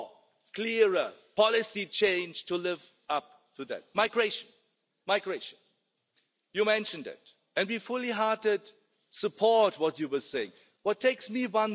to defend our institution. We need to fight against enemies who would like to undermine our democracy Cambridge Analytica, for example, and all the enemies from the outside, as